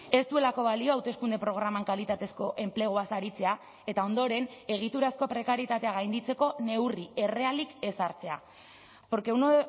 ez duelako balio hauteskunde programan kalitatezko enpleguaz aritzea eta ondoren egiturazko prekarietatea gainditzeko neurri errealik ez hartzea porque uno